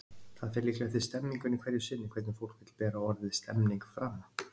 Það fer líklega eftir stemningunni hverju sinni hvernig fólk vill bera orðið stemning fram.